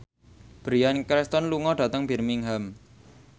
Bryan Cranston lunga dhateng Birmingham